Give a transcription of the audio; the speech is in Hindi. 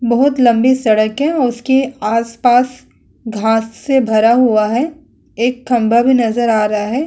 बहुत लम्बी सड़क है और उसके आस-पास घांस से भार हुआ है एक खम्बा भी नज़र आ रहा है।